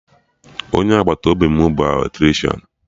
Onye agbata obi m bụ Eletrishan